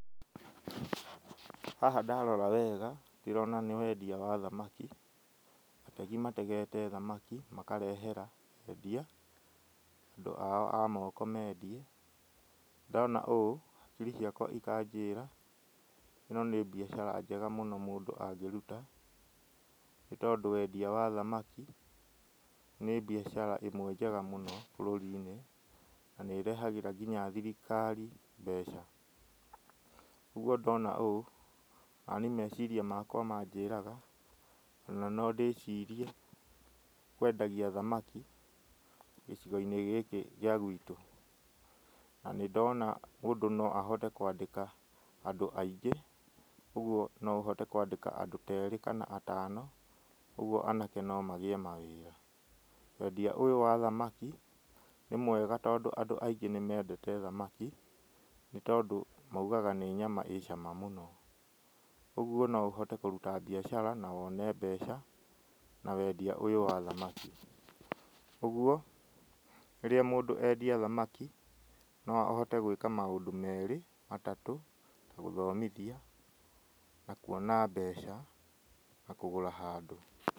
Haha ndarora wega ndĩrona nĩ wendia wa thamaki, ategi mategete thamaki makarehera endia, andũ ao amoko mendie, ndona ũũ hakiri ciakwa ikanjĩra ĩno nĩ biacara njega mũno mũndũ angĩruta, nĩ tondũ wendia wa thamaki nĩ biacara ĩmwe njega mũno bũrũri-inĩ, na nĩ ĩrehagĩra nginya thirikari mbeca, ũguo ndona ũũ, nani meciria makwa manjĩraga ona no ndĩcirie kwendagia thamaki, gĩcigo-inĩ gĩkĩ gĩa gwitũ, na nĩ ndona mũndũ noahote kwandĩka andũ aingĩ, ũguo noũhote kwandĩka andũ terĩ, kana atano, ũguo anake nomagĩe mawĩra, wendia ũyũ wa thamaki, nĩ mwega tondũ andũ aingĩ nĩ mendete thamaki, nĩ tondũ moigaga nĩnyama ĩcama mũno, ũguo no ũhote kũruta biacara na wone mbeca na wendia ũyũ wa thamaki, ũguo rĩrĩa mũndũ endia thamaki, noahote gwĩka maũndũ merĩ, matatũ, ta gũthomithia, na kuona mbeca, na kũgũra handũ.